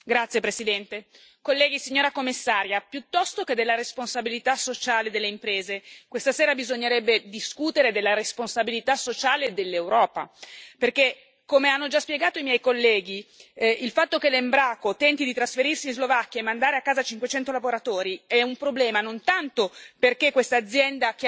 Signor Presidente, onorevoli colleghi, signora Commissaria, piuttosto che della responsabilità sociale delle imprese, questa sera bisognerebbe discutere della responsabilità sociale dell'Europa. Perché, come hanno già spiegato i miei colleghi, il fatto che l'Embraco tenti di trasferirsi in Slovacchia e mandare a casa 500 lavoratori è un problema, non tanto perché questa azienda